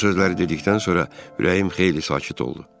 Bu sözləri dedikdən sonra ürəyim xeyli sakit oldu.